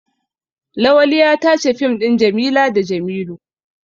Lawali ya tace fim ɗin Jamila da Jamilu.